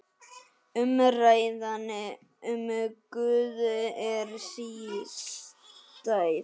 Umræðan um Guð er sístæð.